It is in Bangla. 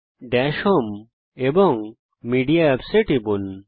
দাশ হোম এবং মেডিয়া Apps এর উপর টিপুন